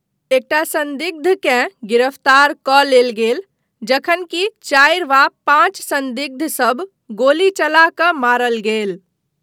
एकटा संदिग्धकेँ गिरफ्तार कऽ लेल गेल, जखन कि चारि वा पाँच संदिग्ध सभ गोली चला कऽ मारल गेल।